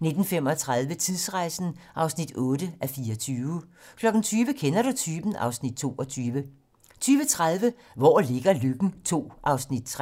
19:35: Tidsrejsen (8:24) 20:00: Kender du typen? (Afs. 22) 20:30: Hvor ligger Løkken II (Afs. 3)